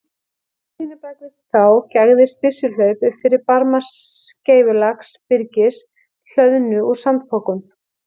Í hlíðinni bak við þá gægðist byssuhlaup upp fyrir barma skeifulaga byrgis, hlöðnu úr sandpokum.